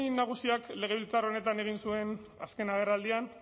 nagusiak legebiltzar honetan egin zuen azken agerraldian